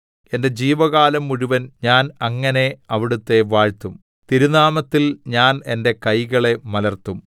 എന്റെ ജീവകാലം മുഴുവൻ ഞാൻ അങ്ങനെ അവിടുത്തെ വാഴ്ത്തും തിരുനാമത്തിൽ ഞാൻ എന്റെ കൈകളെ മലർത്തും